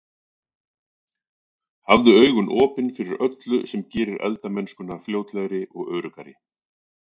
Hafðu augun opin fyrir öllu sem gerir eldamennskuna fljótlegri og öruggari.